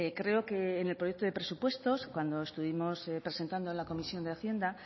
creo que en el proyecto de presupuestos cuando estuvimos presentando en la comisión de hacienda